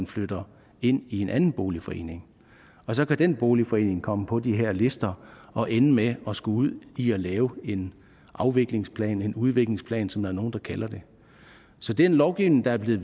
flytter ind i en anden boligforening og så kan den boligforening komme på de her lister og ende med at skulle ud i at lave en afviklingsplan en udviklingsplan som der er nogle der kalder det så den lovgivning der er blevet